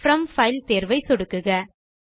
from file தேர்வை சொடுக்குக